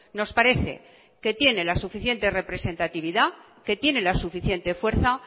nos parece que tiene la suficiente representatividad que tiene la suficiente fuerza